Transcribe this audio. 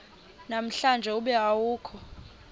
namhlanje ube awukho